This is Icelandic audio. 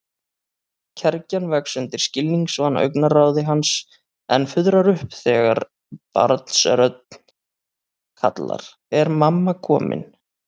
Kergjan vex undir skilningsvana augnaráði hans en fuðrar upp þegar barnsrödd kallar: Er mamma komin?